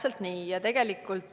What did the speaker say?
Jah, see on täpselt nii.